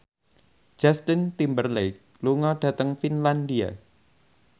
Justin Timberlake lunga dhateng Finlandia